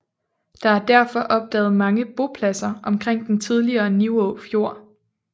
Der er derfor opdaget mange bopladser omkring den tidligere Nivå Fjord